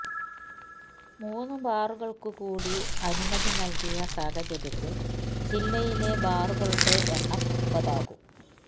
മൂന്ന് ബാറുകള്ക്ക് കൂടി അനുമതി നല്കിയ സാഹചര്യത്തില് ജില്ലയിലെ ബാറുകളുടെയെണ്ണം ഒമ്പതാകും